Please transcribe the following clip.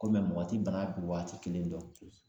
Ko mɛ mɔgɔ ti bana bin waati kelen dɔn